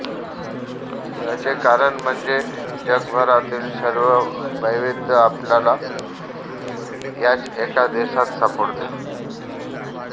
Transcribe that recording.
याचे कारण म्हणजे जगभरातील सर्व वैविध्य आपल्याला याच एका देशात सापडते